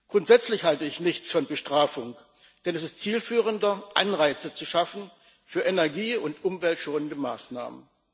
Grundsätzlich halte ich nichts von Bestrafung, denn ist es zielführender, Anreize zu schaffen für energie und umweltschonende Maßnahmen.